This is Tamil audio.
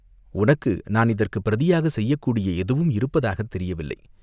உனக்கு நான் இதற்குப் பிரதியாகச் செய்யக்கூடியது எதுவும் இருப்பதாகத் தெரியவில்லை.